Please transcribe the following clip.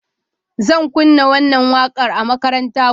Zan kunna wannan wakar a makaranta gobe.